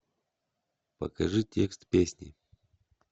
покажи текст песни